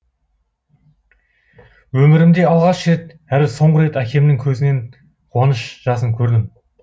өмірімде алғаш рет әрі соңғы рет әкемнің көзінен қуаныш жасын көрдім